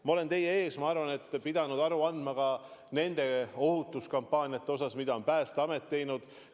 Ma olen teie ees pidanud aru andma ka nendest ohutuskampaaniatest, mida on Päästeamet teinud.